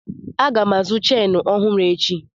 Aga m azụ cheenụ ọhụrụ echi.